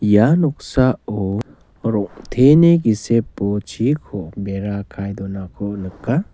ia noksao rong·teni gisepo chiko bera kae donako nika.